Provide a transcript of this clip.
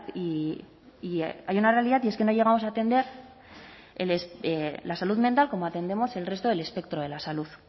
y hay una realidad y es que no llegamos a atender la salud mental como atendemos el resto del espectro de la salud